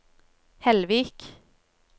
Hellvik